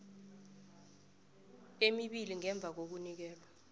emibili ngemva kokunikelwa